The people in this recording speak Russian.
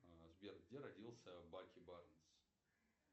сбер где родился баки барнс